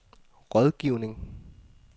rådgivning